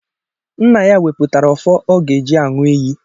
Nna ya wepụtara ọfọ ọ ga-eji aṅu iyi